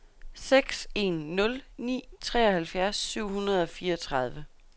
seks en nul ni treoghalvfjerds syv hundrede og fireogtredive